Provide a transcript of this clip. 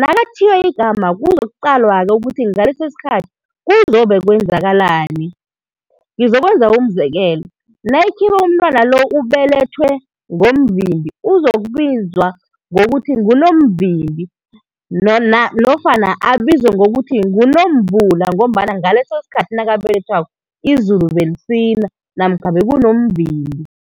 Nakathiywa igama kuzokuqalwa-ke ukuthi ngaleso isikhathi kuzobe kwenzakalani. Ngizokwenza umzekelo, nayikhibe umntwana lo ubelethwe ngomvimbi, uzokuthiywe kuthiwe nguNomvimbi, nofana abizwe ngokuthi nguNomvula ngombana ngaleso isikhathi nakabelethwako izulu belisina namkha bekunomvimbi.